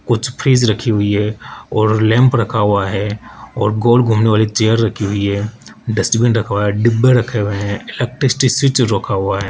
कुछ फ्रिज रखी हुई है और लैंप रखा हुआ है और गोल घूमने वाली चेयर रखी हुई है डस्टबिन रखा हुआ डिब्बे रखे हुए है इलेक्ट्रिसिटी स्विच रखा हुआ है।